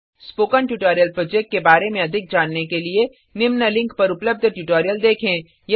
spoken tutorial project के बारें में अधिक जानने के लिए निम्न लिंक पर उपलब्ध ट्यूटोरियल को देखें